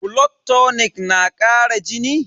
Blood tonic na kara jini?